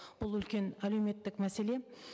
бұл үлкен әлеуметтік мәселе